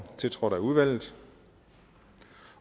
tiltrådt af udvalget